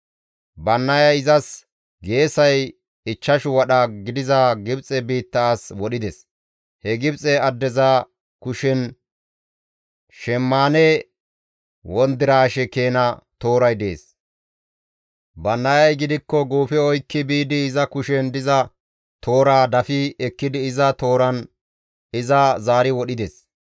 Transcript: Bannayay izas geesay ichchashu wadha gidiza Gibxe biitta as wodhides; he Gibxe addeza kushen shemmaane wondiraashe keena tooray dees; Bannayay gidikko guufe oykki biidi iza kushen diza tooraa dafi ekkidi iza tooran iza zaari wodhides.